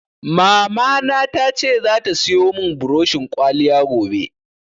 Mamana ta ce zata siyo mun buroshin ƙwaliya gobe